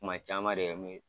Kuma cama de